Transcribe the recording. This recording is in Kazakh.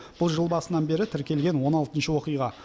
бұл жыл басынан бері тіркелген он алтыншы оқиға